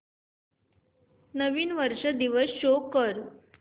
नवीन वर्ष दिवस शो कर